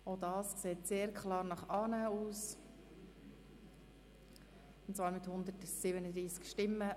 Auch dies sieht sehr klar nach einer Annahme aus und zwar mit 137 Stimmen.